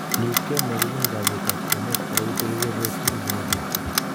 Leukemia kobunu kowet ab kwenet ako ite kebeberwek tugul chebo borto